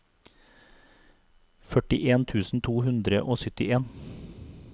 førtien tusen to hundre og syttien